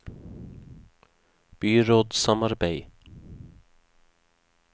byrådssamarbeid